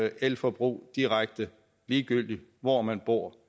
elforbrug direkte ligegyldigt hvor man bor